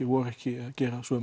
voru ekki að gera sömu